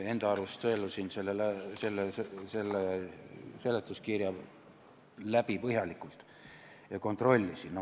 Enda arust sõelusin seletuskirja põhjalikult läbi ja kontrollisin seda.